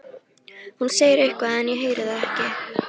Hún segir eitthvað en ég heyri það ekki.